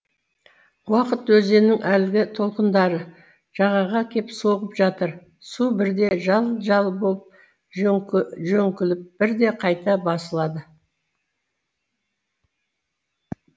уақыт өзенінің әлгі толқындары жағаға кеп соғып жатыр су бірде жал жал болып жөңкіліп бірде қайта басылады